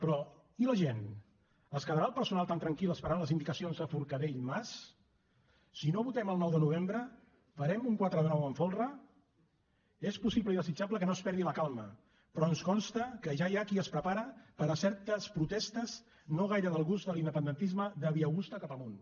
però i la gent es quedarà el personal tan tranquil esperant les indicacions de forcadell mas si no votem el nou de novembre farem un quatre de nou amb folre és possible i desitjable que no es perdi la calma però ens consta que ja hi ha qui es prepara per a certes protestes no gaire del gust de l’independentisme de via augusta cap amunt